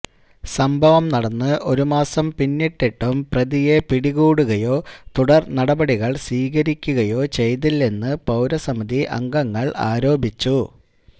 സംഭവം നടന്ന് ഒരുമാസം പിന്നിട്ടിട്ടും പ്രതിയെ പിടികൂടുകയോ തുടര്നടപടികള് സ്വീകരിക്കുകയോ ചെയ്തില്ലെന്ന് പൌരസമിതി അംഗങ്ങള് ആരോപിച്ചു